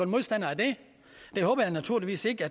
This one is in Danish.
modstandere af det det håber jeg naturligvis ikke